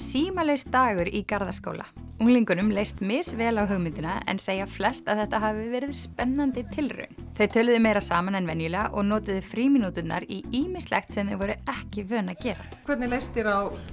símalaus dagur í Garðaskóla unglingunum leist misvel á hugmyndina en segja flest að þetta hafi verið spennandi tilraun þau töluðu meira saman en venjulega og notuðu frímínúturnar í ýmislegt sem þau voru ekki vön að gera hvernig leist þér á